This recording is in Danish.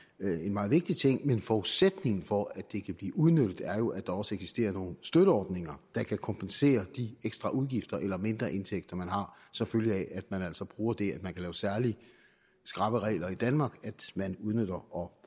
meget vigtig ting men forudsætningen for at det kan blive udnyttet er jo at der også eksisterer nogle støtteordninger der kan kompensere for de ekstra udgifter eller mindre indtægter man har som følge af at man altså bruger det at man kan lave særlig skrappe regler i danmark at man udnytter og